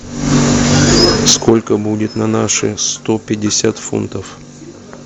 сколько будет на наши сто пятьдесят фунтов